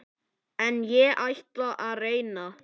En ég ætla að reyna.